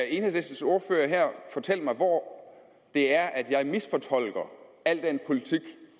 enhedslistens ordfører fortælle mig hvor det er jeg misfortolker al den politik